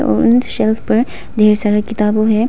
और उन सेल्फ पर ढेर सारे किताबो है।